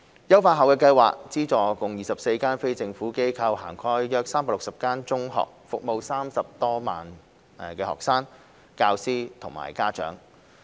優化後的計劃資助共24間非政府機構，涵蓋約360間中學，服務30多萬學生、教師及家長。